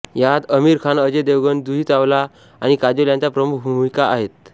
यात आमिर खान अजय देवगण जुही चावला आणि काजोल यांच्या प्रमुख भूमिका आहेत